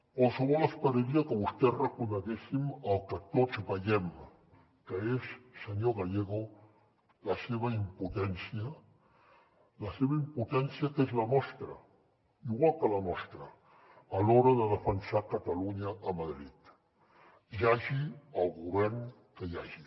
qualsevol esperaria que vostès reconeguessin el que tots veiem que és senyor gallego la seva impotència la seva impotència que és la nostra igual que la nostra a l’hora de defensar catalunya a madrid hi hagi el govern que hi hagi